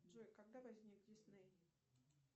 джой когда возник дисней